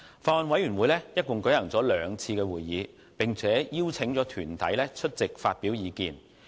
法案委員會一共舉行了兩次會議，並邀請團體出席發表意見。